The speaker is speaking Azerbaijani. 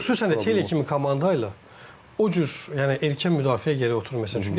Məncə xüsusən də Çelli kimi komanda ilə o cür, yəni erkən müdafiə gərək oturmayasan.